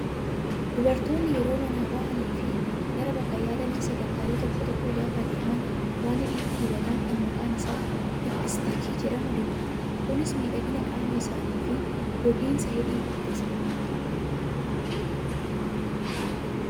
Dubartoonni yeroo manaa bahanii fi gara bakka yaadanii sagantaalee tokko tokko gaafa deeman waan hidhiitti dibatan kan maqaan isaa liippistiikii jedhamu dibatu. Kunis miidhagina qaama isaanii fi gogiinsa hidhii ittisa.